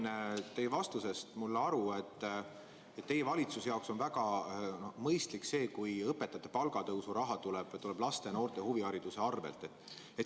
Ma sain teie vastusest aru nii, et teie valitsuse jaoks on väga mõistlik see, kui õpetajate palga tõusu raha tuleb laste ja noorte huvihariduse arvel.